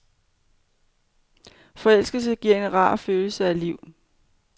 Forelskelse, giver en rar følelse af liv.